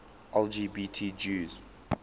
lgbt jews